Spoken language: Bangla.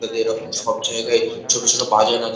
যদি এরকম সব জায়গায় ছোট ছোট বাজার আছে।